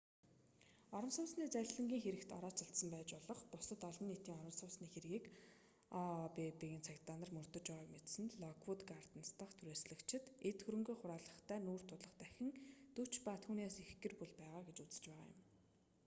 орон сууцны залилангийн хэрэгт орооцолдсон байж болох бусад олон нийтийн орон сууцны хэргийг ообб-ын цагдаа нар мөрдөж байгааг мэдсэн локвүүд гарденс дахь түрээслэгчид эд хөрөнгөө хураалгахтай нүүр тулах дахин 40 ба түүнээс их гэр бүл байгаа гэж үзэж байгаа юм